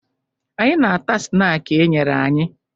Anyị na-ata snaakị e nyere anyị